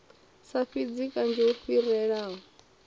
sa fhidzi kanzhi hu fhirelaho